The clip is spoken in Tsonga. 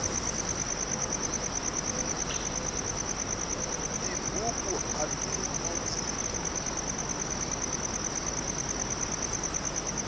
tibuku ati nandziki